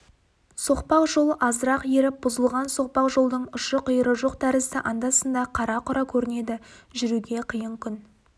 соқпақ жол азырақ еріп бұзылған соқпақ жолдың ұшы-қиыры жоқ тәрізді анда-санда қара-құра көрінеді жүруге қиын күн